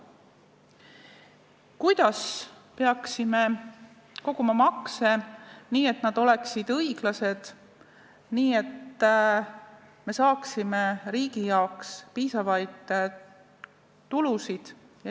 Kuidas peaksime koguma makse nii, et nad oleksid õiglased ja me saaksime riigi jaoks piisavaid tulusid?